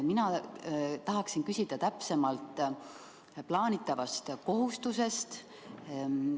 Mina tahan küsida täpsemalt uue plaanitava kohustuse kohta.